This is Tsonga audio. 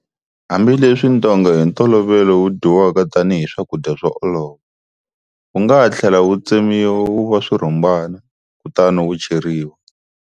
Hambileswi ntonga hi ntolovelo wu dyiwaka tanihi swakudya swo olova, wu nga ha tlhela wu tsemiwa wu va swirhumbana, kutani wu cheriwa.